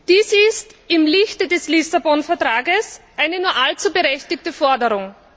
Dies ist im Lichte des Lissabon Vertrags eine nur allzu berechtigte Forderung.